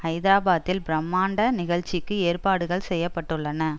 ஹைதராபாத்தில் பிரமாண்ட நிகழ்ச்சிக்கு ஏற்பாடுகள் செய்ய பட்டுள்ளன